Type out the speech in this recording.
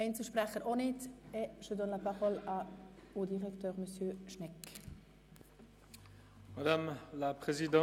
Es wünschen sich auch keine Einzelsprecher zu äussern.